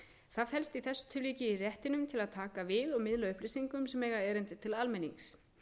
það felst í þessu tilviki í réttinum til að taka við og miðla upplýsingum sem eiga erindi til almennings